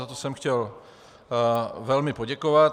Za to jsem chtěl velmi poděkovat.